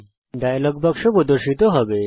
একটি ডায়লগ বাক্স প্রর্দশিত হবে